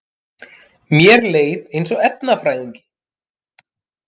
Mér leið eins og efnafræðingi